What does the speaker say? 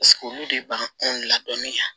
olu de b'an ladɔnniya